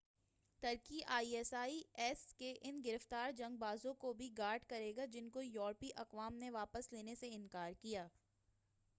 Turkey I S I S کے ان گرفتار جنگ بازوں کو بھی گارڈ کرے گا جن کو یورپی اقوام نے واپس لینے سے انکار کیا